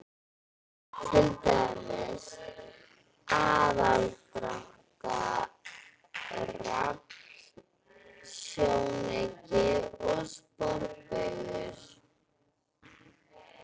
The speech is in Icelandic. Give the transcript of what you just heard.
Til dæmis: aðdráttarafl, sjónauki og sporbaugur.